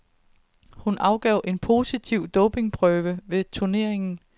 Hun afgav en positiv dopingprøve ved turneringen.